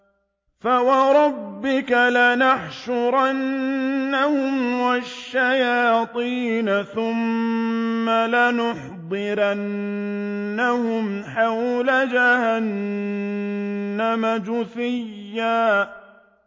فَوَرَبِّكَ لَنَحْشُرَنَّهُمْ وَالشَّيَاطِينَ ثُمَّ لَنُحْضِرَنَّهُمْ حَوْلَ جَهَنَّمَ جِثِيًّا